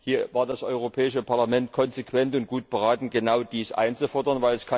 Hier war das Europäische Parlament konsequent und gut beraten, genau diese einzufordern.